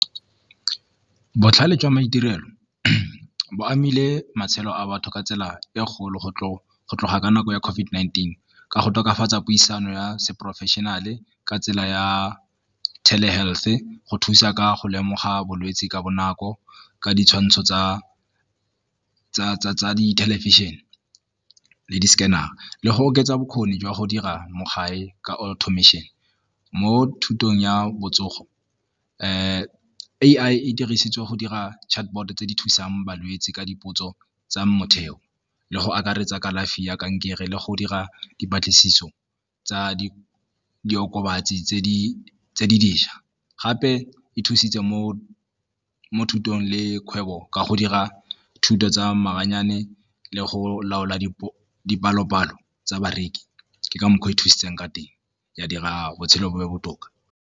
Botlhale jwa maitirelo bo amile matshelo a batho ka tsela e kgolo go tloga ka nako ya COVID-19 ka go tokafatsa puisano ya se professional-e ka tsela ya tele health-e go thusa ka go lemoga bolwetse ka bonako ka ditshwantsho tsa di thelebišene le di-scanner-ra le go oketsa bokgoni jwa go dira mogare ka . Mo thutong ya botsogo A_I e dirisitswe go dira chatbot tse di thusang balwetse ka dipotso tsa motheo le go akaretsa kalafi ya kankere le go dira dipatlisiso tsa diokobatsi tse di ntšhwa, gape e thusitse mo thutong le kgwebo ka go dira thuto tsa maranyane le go laola dipalo-palo tsa bareki, ke ka mokgwa e thusang ka teng ya dira botshelo bo be botoka.